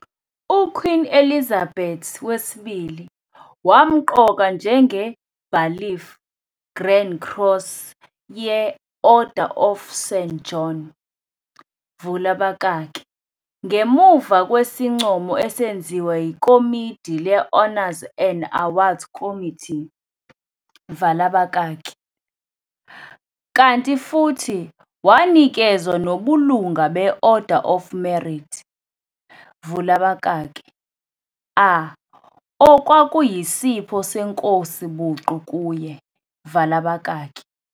U-Queen Elizabeth II wamqoka njenge-Bailiff Grand Cross ye-Order of St. John vula abakaki ngemuva kwesincomo esenziwa yikomidi le-Honours and Awards Committee vala abakaki kanti futhi wanikezwa nobulunga be-Order of Merit vula abakaki a okwakuyisipho senkosi buqu kuye vala abakaki.